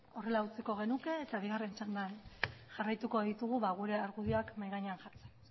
horrela utziko genuke eta bigarren txandan jarraituko ditugu gure argudioak mahai gainean jartzen